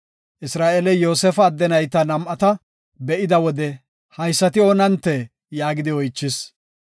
Isra7eeley Yoosefa adde nayta nam7ata be7ida wode, “Haysati oonantee?” yaagidi oychis.